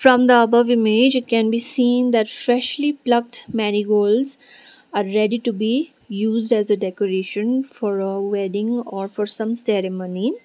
from the above image it can be seen that freshly plucked marigolds are ready to be used as a decoration for a wedding or for some ceremony.